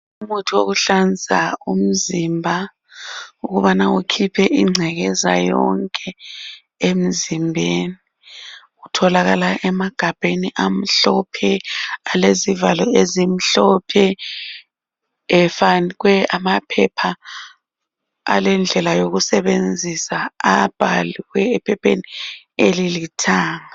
Umuntu wokuhlanza umzimba, ukubana ukhiphe ingcekeza yonke emzimbeni. Utholakala emagabheni amhlophe alezivalo ezimhlophe efakwe amaphepha alendlela sokusebenzisa. Abhalwe ephepheni elilithanga.